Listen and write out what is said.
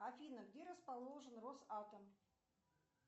афина где расположен росатом